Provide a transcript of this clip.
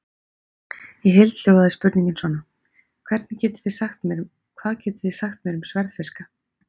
Í heild hljóðaði spurningin svona: Hvað getið þið sagt mér um sverðfiska?